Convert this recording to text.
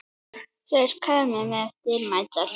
Þeir kæmu með dýrmæta reynslu